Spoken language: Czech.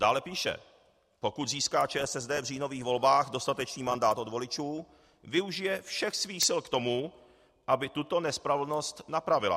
Dále píše: "Pokud získá ČSSD v říjnových volbách dostatečný mandát od voličů, využije všech svých sil k tomu, aby tuto nespravedlnost napravila.